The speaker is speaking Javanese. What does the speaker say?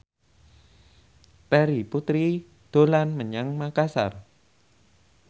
Terry Putri dolan menyang Makasar